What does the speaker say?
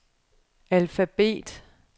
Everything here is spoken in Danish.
alfabet